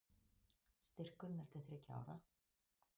Styrkurinn er til þriggja ára